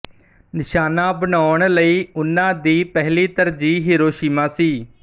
ਨਿਸ਼ਾਨਾ ਬਣਾਉਣ ਲਈ ਉਨ੍ਹਾਂ ਦੀ ਪਹਿਲੀ ਤਰਜੀਹ ਹੀਰੋਸ਼ੀਮਾ ਸੀ